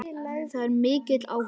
Það er mikill áhugi.